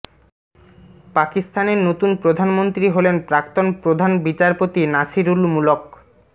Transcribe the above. পাকিস্তানের নতুন প্রধানমন্ত্রী হলেন প্রাক্তন প্রধান বিচারপতি নাসিরুল মুলক